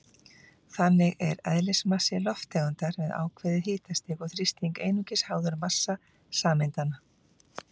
Þannig er eðlismassi lofttegundar við ákveðið hitastig og þrýsting einungis háður massa sameindanna.